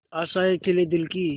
आशाएं खिले दिल की